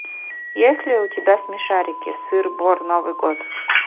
есть ли у тебя смешарики сыр бор новый год